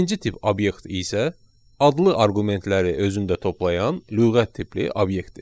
İkinci tip obyekt isə adlı arqumentləri özündə toplayan lüğət tipli obyektdir.